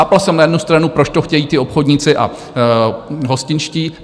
Chápal jsem na jednu stranu, proč to chtějí ti obchodníci a hostinští.